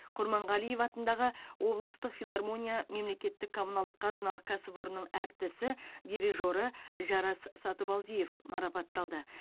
құрманғалиев атындағы облыстық филармониясы мемлекеттік коммуналдық қазыналық кәсіпорнының әртісі дирижері жарас сатыбалдиев марапатталды